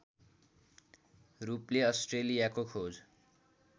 रूपले अस्ट्रेलियाको खोज